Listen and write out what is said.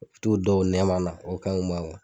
U t'u da o nɛma na o kanɲi u ma kuwa